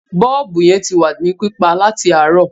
Bọ́ọ̀bù yẹn ti wà ní pípa láti àárọ̀.